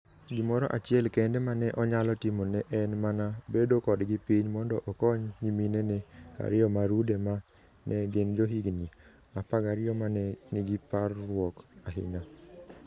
Gimoro achiel kende ma ne onyalo timo ne en mana bedo kodgi piny mondo okony nyiminene ariyo ma rude ma ne gin johigini 12 ma ne nigi parruok ahinya.